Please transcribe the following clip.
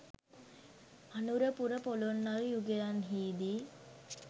Anurapura Polonnaruwa යුගයන්හිදි